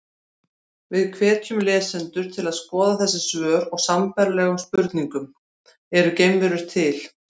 Við hvetjum lesendur til að skoða þessi svör við sambærilegum spurningum: Eru geimverur til?